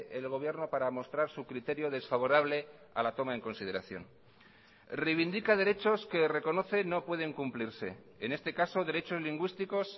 el gobierno para mostrar su criterio desfavorable a la toma en consideración reivindica derechos que reconocen no pueden cumplirse en este caso derechos lingüísticos